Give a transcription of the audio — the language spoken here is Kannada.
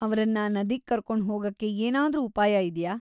ಅವ್ರನ್ನ ನದಿಗ್ ಕರ್ಕೊಂಡ್ ಹೋಗಕ್ಕೆ ಏನಾದ್ರೂ ಉಪಾಯ ಇದ್ಯಾ?